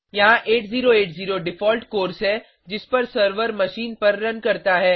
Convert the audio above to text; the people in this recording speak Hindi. यहाँ 8080 डिफ़ॉल्ट कोर्स है जिस पर सर्वर मशीन पर रन करता है